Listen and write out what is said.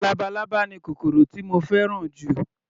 Labalábá ni kòkòrò tí mo fẹ́ràn jù